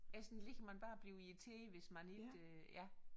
Essen ligger man bare og bliver irriteret hvis man ikke ja